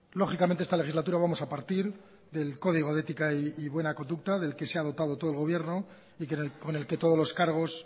lógicamente esta legislatura vamos a partir del código de ética y buena conducta del que se ha dotado todo el gobierno y con el que todos los cargos